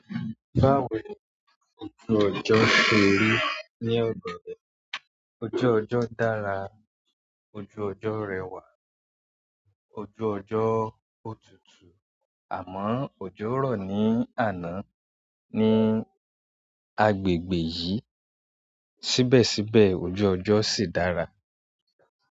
Báwo ni ojú ọjọ́ ṣe rí ní ọ̀dọ̀ rẹ? Ojú ọjọ́ dára, ojú ọjọ́ rẹwà, ojú ọjọ́ ó tutù, àmọ́ òjò rọ̀ ní àná ní agbègbè yìí, síbẹ̀síbẹ̀ ojú ọjọ́ sì dára.